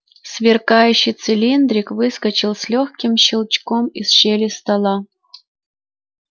сверкающий цилиндрик выскочил с лёгким щелчком из щели стола